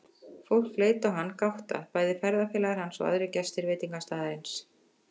Fólk leit á hann, gáttað, bæði ferðafélagar hans og aðrir gestir veitingastaðarins.